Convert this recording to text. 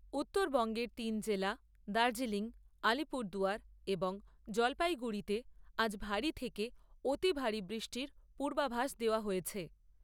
উত্তরবঙ্গের তিন জেলা দার্জিলিং, আলিপুরদুয়ার এবং জলপাইগুড়িতে আজ ভারী থেকে অতি ভারী বৃষ্টির পূর্বাভাস দেওয়া হয়েছে।